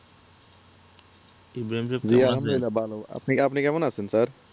জি আলহামদুলিল্লাহ ভালো আপনি কেমন আছেন sir